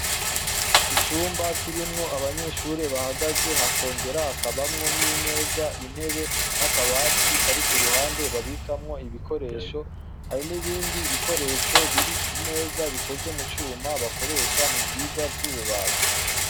Icumba kirimwo abanyeshure bahagaze hakongera hakabamwo n' imeza, intebe n' akabati kari ku ruhande babikamwo ibikoresho hari n' ibindi bikoresho biri ku meza bikoze mu cuma bakoresha mu vyigwa vy' ububaji.